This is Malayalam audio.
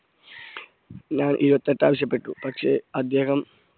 ഞാൻ ഇരുപത്തി എട്ട് ആവശ്യപ്പെട്ടു പക്ഷേ അദ്ദേഹം